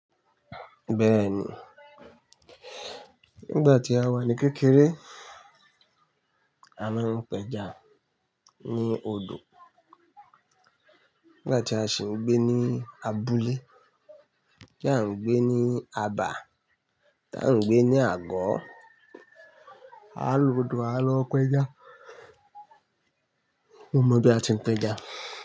Bẹ́ẹ̀ni, nígbà tí a wà ní kékeré a máa ń pẹja ní odò. Nígbà ti a si gbe ni abúlé ti a ń gbe ni abà, ti a n gbe ni àgó a lodò a lo peja. Mo mọ bí a ti ń pẹja.